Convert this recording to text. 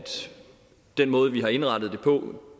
den måde vi har indrettet det på